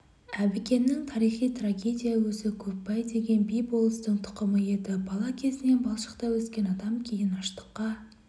әбікеннің тарихы трагедия өзі көпбай деген би-болыстың тұқымы еді бала кезінен баршылықта өскен адам кейін аштыққа